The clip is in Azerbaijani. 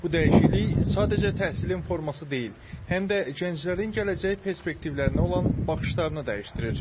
Bu dəyişiklik sadəcə təhsilin forması deyil, həm də gənclərin gələcək perspektivlərinə olan baxışlarını dəyişdirir.